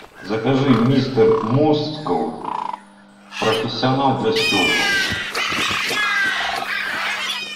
закажи мистер мускул профессионал для стекол